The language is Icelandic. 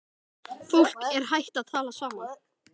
Fólk er hætt að tala saman.